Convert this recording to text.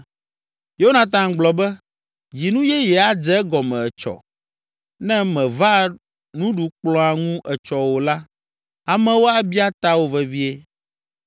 Yonatan gblɔ be, “Dzinu yeye adze egɔme etsɔ. Ne mèva nuɖukplɔ̃a ŋu etsɔ o la, amewo abia tawò vevie.